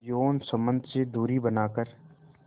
यौन संबंध से दूरी बनाकर